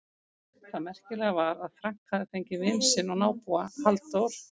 Það merkilega var að Frank hafði fengið vin sinn og nábúa, Halldór